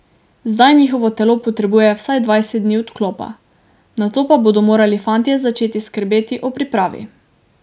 Zdaj njihovo telo potrebuje vsaj dvajset dni odklopa, nato pa bodo morali fantje začeti skrbeti o pripravi.